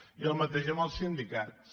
i el mateix amb els sindicats